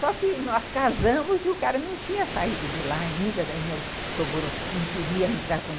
Só que nós casamos e o cara não tinha saído de lá ainda, daí meu sogro não queria entrar com...